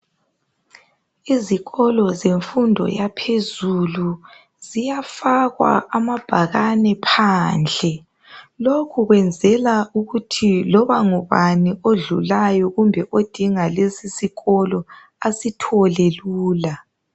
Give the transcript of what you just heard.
Izikolo zemfundo yaphezulu, ziyafakwa amabhakane phandle. Lokhu kwenzelwa ukuthi loba ngubani odlulayo odinga lesisikolo, asithole lula.